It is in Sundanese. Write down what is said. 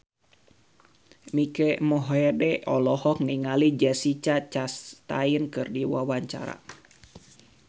Mike Mohede olohok ningali Jessica Chastain keur diwawancara